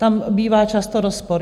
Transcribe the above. Tam bývá často rozpor.